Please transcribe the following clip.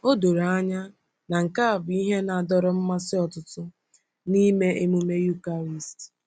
O doro anya na nke a bụ ihe na-adọrọ mmasị ọtụtụ n’ịme emume Eucharist.